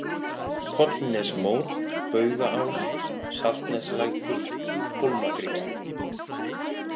Pollnesmór, Bugaás, Saltneslækur, Hólmagrynnsli